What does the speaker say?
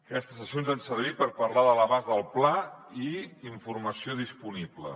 aquestes sessions han servit per parlar de l’abast del pla i la informació disponible